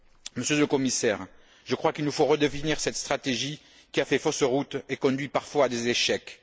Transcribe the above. Monsieur le Commissaire, je crois qu'il nous faut redéfinir cette stratégie qui a fait fausse route et conduit parfois à des échecs.